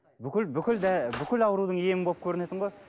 бүкіл бүкіл бүкіл аурудың емі болып көрінетін ғой